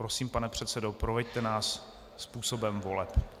Prosím, pane předsedo, proveďte nás způsobem voleb.